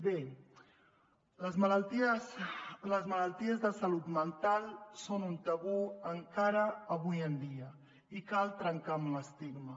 bé les malalties de salut mental són un tabú encara avui en dia i cal trencar amb l’estigma